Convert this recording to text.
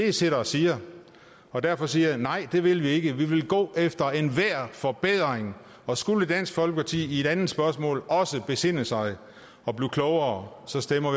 i sidder og siger derfor siger jeg nej det vil vi ikke vi vil gå efter enhver forbedring og skulle dansk folkeparti i et andet spørgsmål også besinde sig og blive klogere stemmer